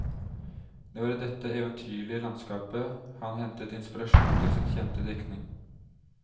Det var i dette eventyrlige landskapet han hentet inspirasjon til sin kjente diktning.